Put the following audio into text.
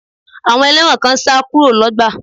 Àwọn ẹlẹ́wọ̀n kan sá kúrò lọ́gbà